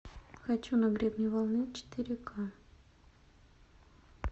хочу на гребне волны четыре к